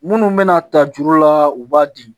Minnu bɛna ta juru la u b'a di